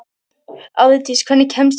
Árdís, hvernig kemst ég þangað?